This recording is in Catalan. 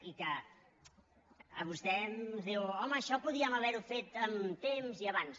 i vostè ens diu home això podíem haver ho fet amb temps i abans